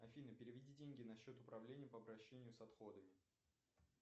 афина переведи деньги на счет управления по обращению с отходами